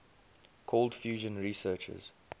cold fusion researchers